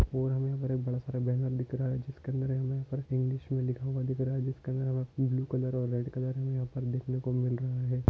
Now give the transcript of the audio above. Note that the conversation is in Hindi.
और हमे यहा हमे बहुत बड़ा सा बैनर दिख रहा है जिसके अंदर इंग्लिश मे लिखा हुआ दिख रहा है जिसका नाम ब्लू कलर और रेड कलर मे यहा पर देखने को मिल रहा है।